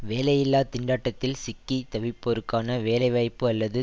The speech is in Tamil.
வேலையில்லா திண்டாட்டத்தில் சிக்கி தவிப்போருக்கான வேலைவாய்ப்பு அல்லது